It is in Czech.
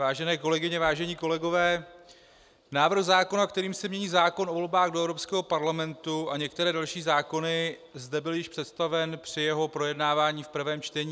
Vážené kolegyně, vážení kolegové, návrh zákona, kterým se mění zákon o volbách do Evropského parlamentu a některé další zákony, zde byl již představen při jeho projednávání v prvém čtení.